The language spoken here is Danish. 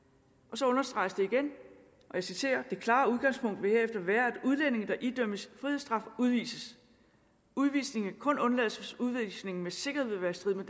og så understreges det igen det klare udgangspunkt vil herefter være at udlændinge der idømmes frihedsstraf udvises udvisning kan kun undlades hvis udvisning med sikkerhed vil være i strid med